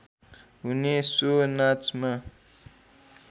हुने सो नाचमा